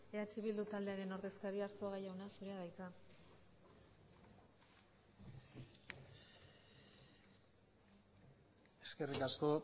eh bildu taldearen ordezkaria arzuaga jauna zurea da hitza eskerrik asko